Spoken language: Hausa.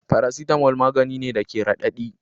Paracetamol magani ne da ke radadi.